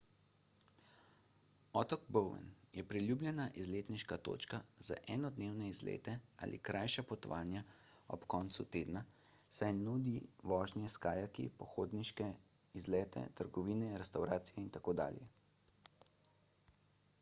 otok bowen je priljubljena izletniška točka za enodnevne izlete ali krajša potovanja ob koncu tedna saj nudi vožnje s kajaki pohodniške izlete trgovine restavracije itd